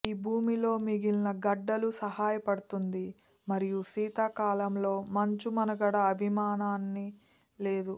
ఈ భూమిలో మిగిలిన గడ్డలు సహాయపడుతుంది మరియు శీతాకాలంలో మంచు మనుగడ అభిమానాన్ని లేదు